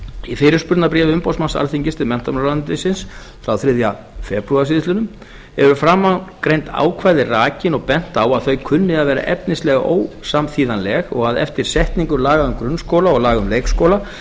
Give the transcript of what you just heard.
í fyrirspurnarbréfi umboðsmanns alþingis til menntamálaráðuneytisins þriðja febrúar síðastliðinn eru framangreind ákvæði rakin og bent á að þau kunni að vera efnislega ósamþýðanleg og að eftir setningu laga um grunnskóla og laga um leikskóla